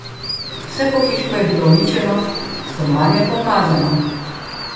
Vse pohištvo je bilo uničeno, stanovanje pa umazano.